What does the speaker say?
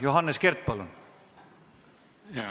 Johannes Kert, palun!